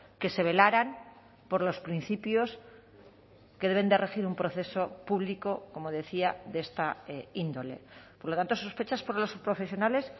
que se velaran por los principios que deben de regir un proceso público como decía de esta índole por lo tanto sospechas por los profesionales